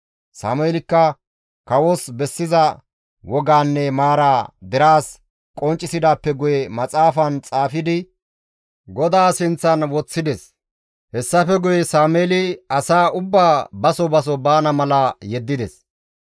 Sameelikka kawos bessiza wogaanne maaraa deraas qonccisidaappe guye maxaafan xaafidi GODAA sinththan woththides; hessafe guye Sameeli asaa ubbaa baso baso baana mala yeddides.